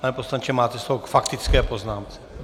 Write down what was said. Pane poslanče, máte slovo k faktické poznámce.